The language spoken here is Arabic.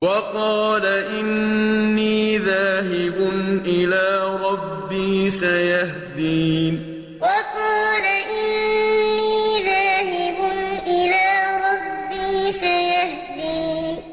وَقَالَ إِنِّي ذَاهِبٌ إِلَىٰ رَبِّي سَيَهْدِينِ وَقَالَ إِنِّي ذَاهِبٌ إِلَىٰ رَبِّي سَيَهْدِينِ